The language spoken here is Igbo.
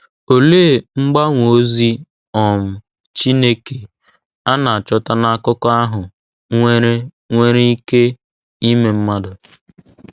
Olee mgbanwe ozi um Chineke a na-achọta n’akụkọ ahụ nwere nwere ike ime mmadụ?